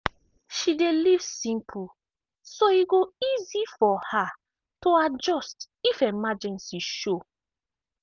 she dey live simple so e go easy for her to adjust if emergency show.